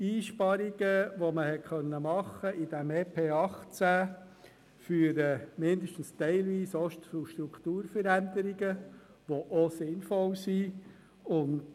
Einsparungen, die man mit diesem EP 2018 machen konnte, führen mindestens teilweise auch zu Strukturveränderungen, die sinnvoll sind.